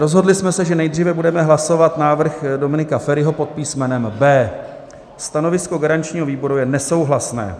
Rozhodli jsme se, že nejdříve budeme hlasovat návrh Dominika Feriho pod písmenem B. Stanovisko garančního výboru je nesouhlasné.